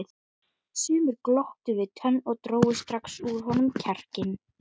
Sumir glottu við tönn og drógu strax úr honum kjarkinn.